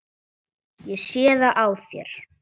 Ég sé það á þér.